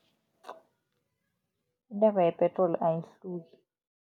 Intengo yepetroli ayihluki.